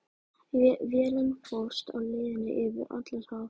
Vélin fórst á leiðinni yfir Atlantshaf.